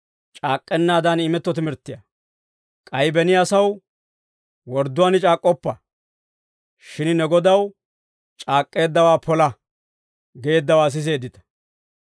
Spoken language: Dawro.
«K'ay beni asaw, ‹Wordduwaan c'aak'k'oppa; shin ne Godaw c'aak'k'eeddawaa pola› geeddawaa siseeddita.